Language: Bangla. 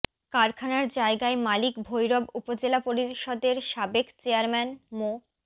কারখানার জায়গার মালিক ভৈরব উপজেলা পরিষদের সাবেক চেয়ারম্যান মো